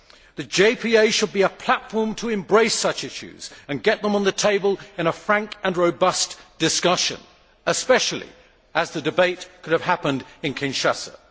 The JPA should be a platform to embrace such issues and get them on the table in a frank and robust discussion, especially as the debate could have happened in Kinshasa.